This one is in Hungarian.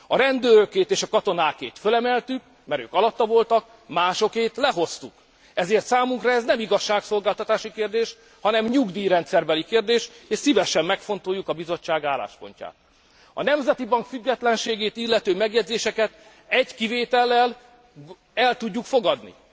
A rendőrökét és a katonákét fölemeltük, mert ők alatta voltak, másokét lehoztuk, ezért számunkra ez nem igazságszolgáltatási kérdés, hanem nyugdíjrendszerbeli kérdés és szívesen megfontoljuk a Bizottság álláspontját. A Nemzeti Bank függetlenségét illető megjegyzéseket egy kivétellel el tudjuk fogadni.